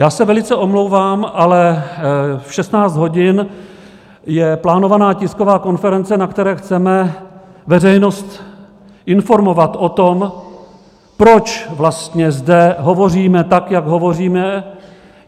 Já se velice omlouvám, ale v 16 hodin je plánovaná tisková konference, na které chceme veřejnost informovat o tom, proč vlastně zde hovoříme tak, jak hovoříme.